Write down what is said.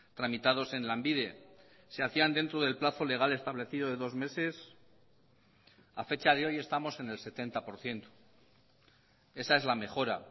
tramitados en lanbide se hacían dentro del plazo legal establecido de dos meses a fecha de hoy estamos en el setenta por ciento esa es la mejora